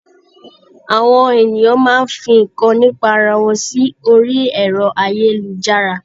Àwọn ènìyàn máa fi nǹkan nípa ara wọn sí orí ẹ̀rọ-ayélujára.